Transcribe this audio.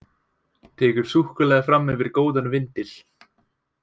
Tekur súkkulaði fram yfir góðan vindil.